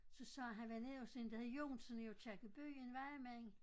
Så sagde han var nede hos en der hed Jon sådan i Aakirkeby en vejmand